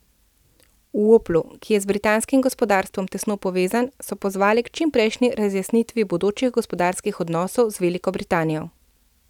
V Oplu, ki je z britanskim gospodarstvom tesno povezan, so pozvali k čimprejšnji razjasnitvi bodočih gospodarskih odnosov z Veliko Britanijo.